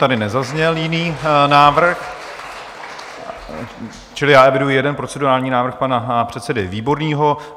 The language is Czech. Tady nezazněl jiný návrh, čili já eviduji jeden procedurální návrh pana předsedy Výborného.